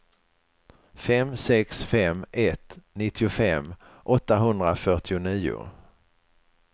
fem sex fem ett nittiofem åttahundrafyrtionio